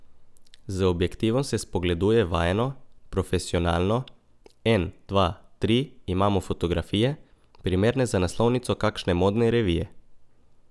Z objektivom se spogleduje vajeno, profesionalno, en, dva, tri imamo fotografije, primerne za naslovnico kakšne modne revije.